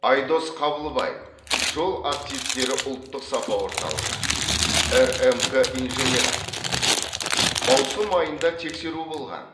айдос қабылбаев жол активтері ұлттық сапа орталығы рмк инженері маусым айында тексеру болған